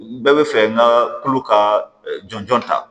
Bɛɛ bɛ fɛ n ka tulo ka jɔnjɔn ta